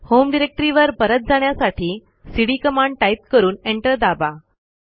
home डिरेक्टरीवर परत जाण्यासाठी सीडी कमांड टाईप करून एंटर दाबा